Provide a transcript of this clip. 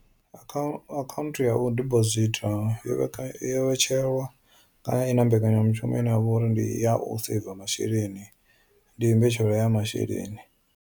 Account account ya u deposit yo yo vheka yo vhetshelwa kana i na mbekanyamushumo ine yavha uri ndi ya u saver masheleni ndi mbetshelo ya masheleni.